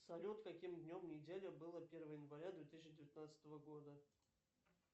салют каким днем недели было первое января две тысячи девятнадцатого года